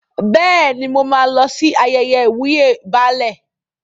Bẹ́ẹ̀ni, mo máa lọ sí ayẹyẹ ìwúyè Baálẹ̀.